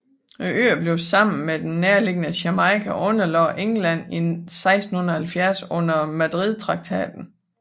Øerne blev sammen med den nærliggende Jamaica underlagt England i 1670 under Madridtraktaten